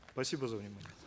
спасибо за внимание